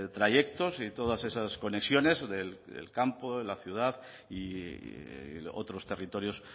trayectos y todas esas conexiones del campo de la ciudad y otros territorios